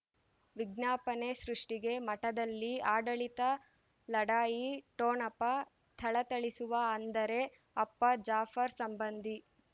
ವಿಜ್ಞಾಪನೆ ಸೃಷ್ಟಿಗೆ ಮಠದಲ್ಲಿ ಆಡಳಿತ ಲಢಾಯಿ ಠೊಣಪ ಥಳಥಳಿಸುವ ಅಂದರೆ ಅಪ್ಪ ಜಾಫರ್ ಸಂಬಂಧಿ